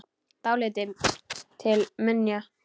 Dálítið til minja.